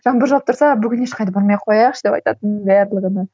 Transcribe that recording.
жаңбыр жауып тұрса бүгін ешқайда бармай қояйықшы деп айтатынмын барлығына